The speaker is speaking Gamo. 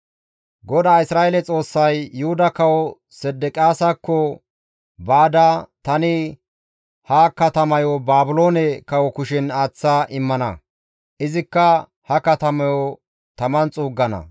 GODAA Isra7eele Xoossay, «Yuhuda Kawo Sedeqiyaasakko baada, ‹Tani ha katamayo Baabiloone kawo kushen aaththa immana; izikka ha katamayo taman xuuggana.